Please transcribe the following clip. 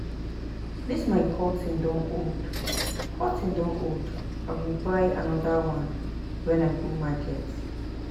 Dis my curtain don old, curtain don old, I go buy another one wen I go market